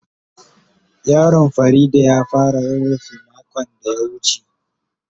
Yaron Fareedah ya fara rurrufe makon da ya wuce.